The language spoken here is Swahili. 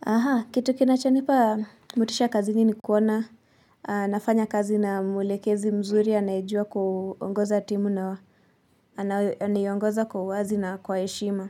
Aha, kitu kinachonipa motisha kazini ni kuona nafanya kazi na mulekezi mzuri anayejua ku ongoza timu na anaiongoza kwa uwazi na kwa heshima.